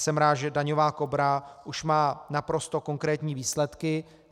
Jsem rád, že daňová Kobra už má naprosto konkrétní výsledky.